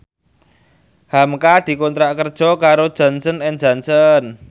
hamka dikontrak kerja karo Johnson and Johnson